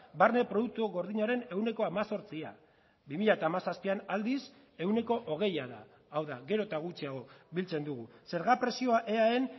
barne produktu gordinaren ehuneko hemezortzia bi mila hamazazpian aldiz ehuneko hogeia da hau da gero eta gutxiago biltzen dugu zerga prezioa eaen